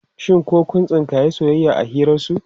Shin ko kun tsinkayi soyayya a hirarsu?